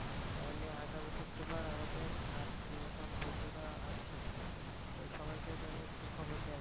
তাইলে আগামী শুক্রবার আমাদের আর যে সব বন্ধুরা আছে সবাই কে তাইলে একটু খবর দেয়া